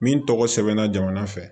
Min tɔgɔ sɛbɛnna jamana fɛ